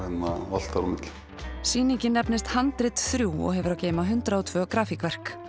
allt þar á milli sýningin nefnist handrit þriggja og hefur að geyma hundrað og tvær grafíkverk